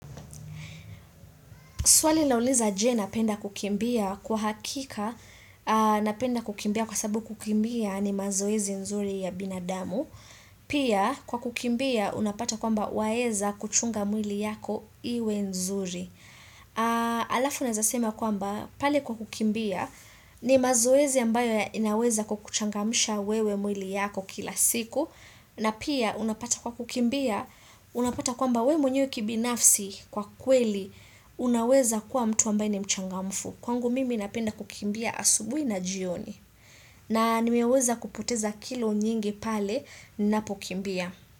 Swali lauliza je napenda kukimbia? Kwa hakika napenda kukimbia kwa sababu kukimbia ni mazoezi nzuri ya binadamu. Pia kwa kukimbia unapata kwamba waeza kuchunga mwili yako iwe nzuri. Alafu naeza sema kwamba pali kwa kukimbia ni mazoezi ambayo ya inaweza kukuchangamsha wewe mwili yako kila siku. Na pia unapata kwa kukimbia, unapata kwamba we mwenye kibinafsi kwa kweli, unaweza kwa mtu ambaye ni mchangamfu. Kwangu mimi napenda kukimbia asubui na jioni. Na nimeweza kupoteza kilo nyingi pale ninapokimbia.